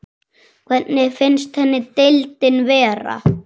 Hvernig finnst henni deildin vera?